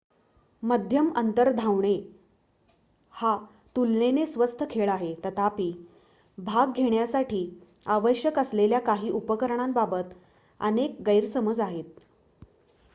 मध्यम अंतर धावणे हा तुलनेने स्वस्त खेळ आहे तथापि भाग घेण्यासाठी आवश्यक असलेल्या काही उपकरणांबाबत अनेक गैरसमज आहेत